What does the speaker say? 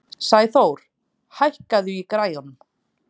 Sæþór, hækkaðu í græjunum.